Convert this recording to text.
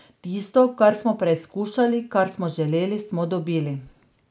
Tisto, kar smo preizkušali, kar smo želeli, smo dobili.